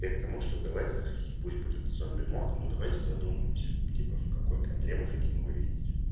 потому что давайте пусть будет ну давайте задумаемся типа в какой команде мы хотим его видеть